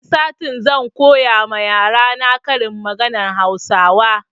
Wani satin zan koya ma yarana karin maganan hausawa